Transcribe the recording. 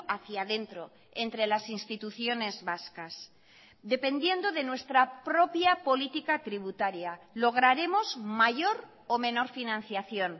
hacía dentro entre las instituciones vascas dependiendo de nuestra propia política tributaria lograremos mayor o menor financiación